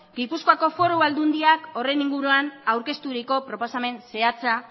gipuzkoako foru aldundiak horren inguruan aurkezturiko proposamen zehatza